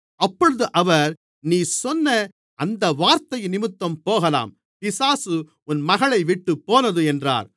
அப்பொழுது அவர் நீ சொன்ன அந்த வார்த்தையினிமித்தம் போகலாம் பிசாசு உன் மகளைவிட்டுப் போனது என்றார்